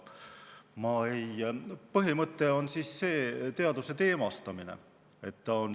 Põhimõte on teaduse teemastamine.